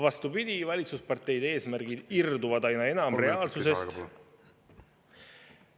Vastupidi, valitsusparteide eesmärgid irduvad aina enam reaalsusest.